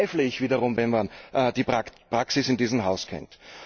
Daran zweifle ich wiederum, wenn man die Praxis in diesem Haus kennt.